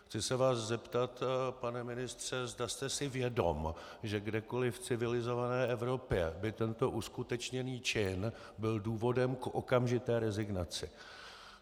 Chci se vás zeptat, pane ministře, zda jste si vědom, že kdekoliv v civilizované Evropě by tento uskutečněný čin byl důvodem k okamžité rezignaci.